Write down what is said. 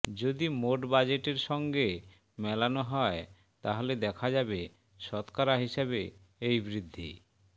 যদি মোট বাজেটের সঙ্গে মেলানো হয় তাহলে দেখা যাবে শতকরা হিসাবে এই বৃদ্ধি